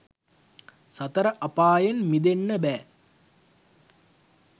සතර අපායෙන් මිදෙන්න බෑ.